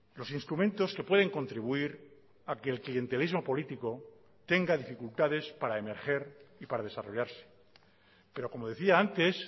los instrumentos que pueden contribuir a que el clientelismo político tenga dificultades para emerger y para desarrollarse pero como decía antes